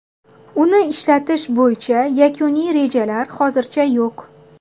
Uni ishlatish bo‘yicha yakuniy rejalar hozircha yo‘q.